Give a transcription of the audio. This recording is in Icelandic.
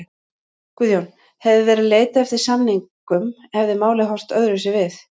Guðjón: Hefði verið leitað eftir samningum hefði málið horft öðruvísi við?